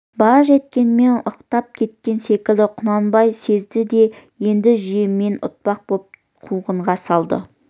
баж еткенмен ықтап кеткен секілді құнанбай сезді де енді жүйемен ұтпақ боп қуғынға салды